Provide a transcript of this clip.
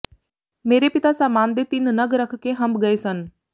ਮੇਰੇ ਪਿਤਾ ਸਾਮਾਨ ਦੇ ਤਿੰਨ ਨਗ ਰੱਖ ਕੇ ਹੰਭ ਗਏ ਸਨ